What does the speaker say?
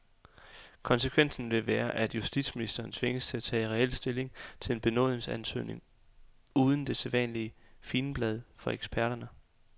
Konsekvensen vil være, at justitsministeren tvinges til at tage reel stilling til en benådningsansøgning uden det sædvanlige figenblad fra eksperterne.